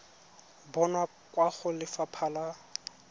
bonwa kwa go lefapha la